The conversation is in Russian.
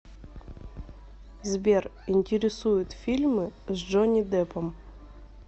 сбер интересуют фильмы с джонни деппом